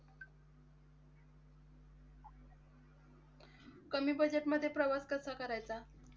कमी budget मधे प्रवास कसा करायचा?